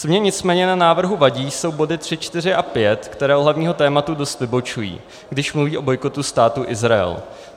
Co mně nicméně na návrhu vadí, jsou body 3, 4 a 5, které od hlavního tématu dost vybočují, když mluví o bojkotu Státu Izrael.